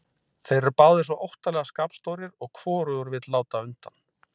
Þeir eru báðir svo óttalega skapstórir og hvorugur vill láta undan.